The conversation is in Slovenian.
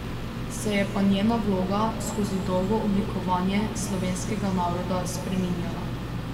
Se je pa njena vloga skozi dolgo oblikovanje slovenskega naroda spreminjala.